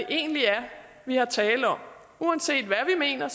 egentlig er vi har talt om uanset hvad vi mener